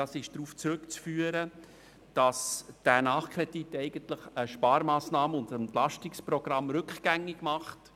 Diese sind darauf zurückzuführen, dass dieser Nachkredit eigentlich einen Sparauftrag aus dem Entlastungsprogramm rückgängig macht.